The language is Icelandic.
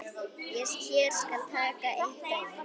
Hér skal tekið eitt dæmi.